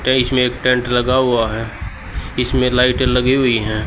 ये इसमें एक टेंट लगा हुआ है इसमें लाइटे लगी हुई है।